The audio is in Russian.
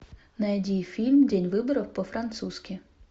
найди фильм день выборов по французски